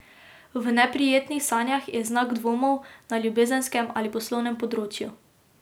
V neprijetnih sanjah je znak dvomov na ljubezenskem ali poslovnem področju.